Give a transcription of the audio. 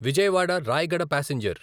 Vijayawada Rayagada passenger